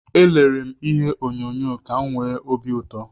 Elere m ihe onyonyo ka m nwee obi ụtọ